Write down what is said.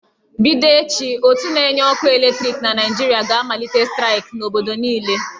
Bido echi, ótú na-enye ọkụ eletriki na Naịjirịa ga-amalite staịk n'obodo niile.